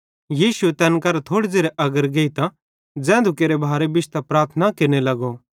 यीशुए तैन करां थोड़े ज़ेरे अग्गर गेइतां ज़ैधू केरे भारे बिश्तां प्रार्थना केरने लगो